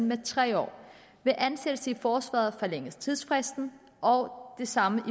med tre år ved ansættelse i forsvaret forlænges tidsfristen og det samme